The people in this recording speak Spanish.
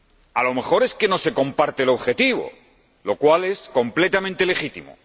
A lo mejor es que no se comparte el objetivo, lo cual es completamente legítimo.